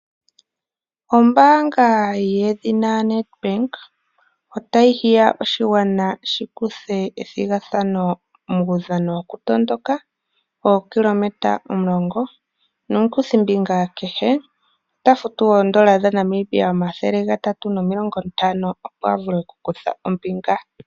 Ombaanga yedhina Nedbank otayi hiya oshigwana shi kuthe ombinga methigathano lyokutondoka lyookilometa omulongo nomukuthimbinga kehe ota futu N$ 350, opo a vule okukutha ombinga.